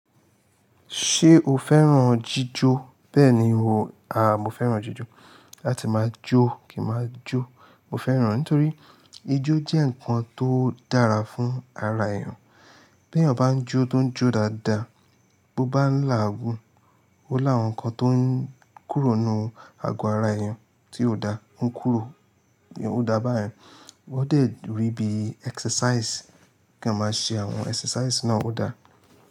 Ṣé o fẹ́ràn jíjó? Bẹ́ẹ̀ni o, a mo fẹ́ràn jíjó. Láti máa jó kí máa jó. Mo fẹ́ràn á nítorí ijó jẹ́ ǹkan tó dára fún ara èèyàn. Bí èèyàn bá ń jó tó ń jó dáadáa, bó bá ń là águn, ó làwọn nǹkan tó ń kúrò nínú àgọ́ ara èèyàn tí ò da. Ó ń kúrò, ó dá bá ọyen. Ó de durí ibi exercise. Kí a máa ṣe àwọn exercise náà ó da.